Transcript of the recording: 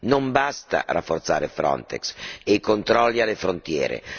Non basta rafforzare Frontex e i controlli alle frontiere